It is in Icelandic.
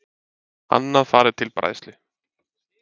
Annað fari til bræðslu